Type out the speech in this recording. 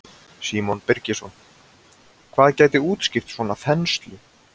Símon Birgisson: Hvað gæti útskýrt svona þenslu?